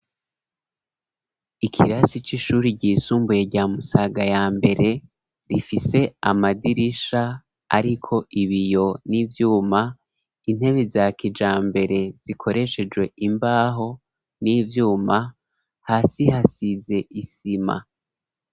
Ikirasi c'ishuri ryisumbuye rya musaga ya mbere, rifise amadirisha ariko ibiyo n'ivyuma, intebe za kijambere zikoreshejwe imbaho n'ivyuma hasi hasize isima.